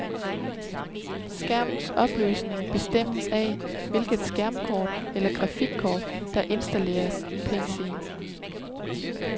Skærmens opløsning bestemmes af, hvilket skærmkort eller grafikkort, der er installeret i PCen.